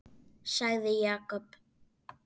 sagði Jakob.